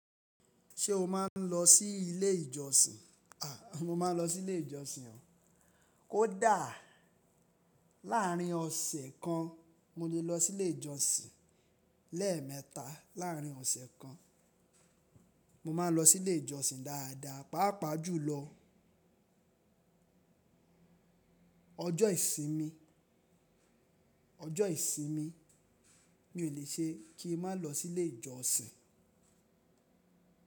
Ṣé o máa ń lọ sí ilé ìjọsìn? A, mo máa ń lọ sí ilé ìjọsìn o. Ó dàá. Láàárín ọ̀sẹ̀ kan mo lè lọ sí ilé ìjọsìn lẹ́ẹ̀mẹta. Láàárín ọ̀sẹ̀ kan mo máa ń lọ sí ilé ìjọsìn dáadáa. Páàpàá jùlọ ọjọ́ ìsinmi, ọjọ́ ìsinmi mi ò lè ṣe kí n má lọ sí ilé ìjọsìn.